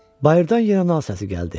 Bayırdan yenə nal səsi gəldi.